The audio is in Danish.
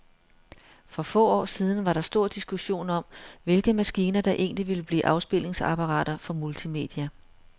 For få år siden var der stor diskussion om, hvilke maskiner, der egentlig ville blive afspilningsapparater for multimedia.